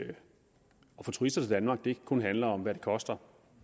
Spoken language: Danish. få turister til danmark ikke kun handler om hvad det koster